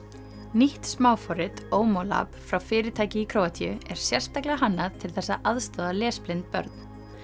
nýtt smáforrit OmoLab frá fyrirtæki í Króatíu er sérstaklega hannað til þess að aðstoða lesblind börn